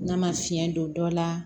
N'a ma fiɲɛ don dɔ la